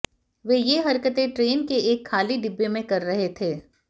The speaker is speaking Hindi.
वे ये हरकतें ट्रेन के एक खाली डिब्बे में कर रहे थे